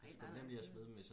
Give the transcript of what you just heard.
nej nej nej